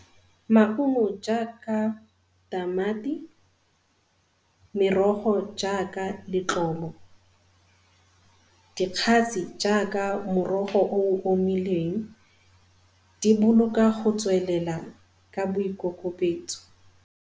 Maungo jaaka tamati, merogo jaaka letlobo, jaaka morogo o o omileng di boloka go tswelela ka boikokobetso.